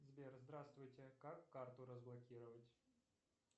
сбер здравствуйте как карту разблокировать